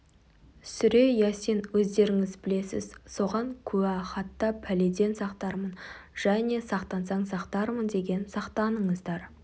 сүре ясин өздеріңіз білесіз соған куә хатта пәледен сақтармын және сақтансаң сақтармын деген сақтаныңыздар